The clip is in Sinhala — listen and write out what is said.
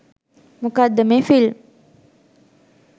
මොකක්ද මේ ෆිල්ම්